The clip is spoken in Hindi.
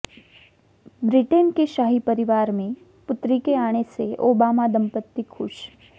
ब्रिटेन के शाही परिवार में पुत्री के आने से ओबामा दंपति खुश